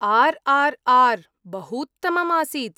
RRR., बहूत्तमम् आसीत्।